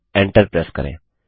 अब enter press करें